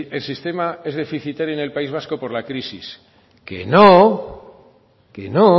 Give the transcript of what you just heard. el sistema es deficitario en el país vasco por la crisis que no que no